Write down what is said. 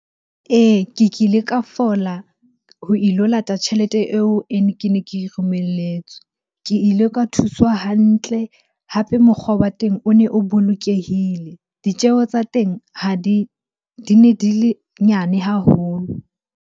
Ee, ke kile ka fola ho ilo lata tjhelete eo e ne, ke ne ke e romelletswe. Ke ile ka thuswa hantle, hape mokgwa wa teng o ne o bolokehile. Ditjeho tsa teng ha di, di ne di le nyane haholo.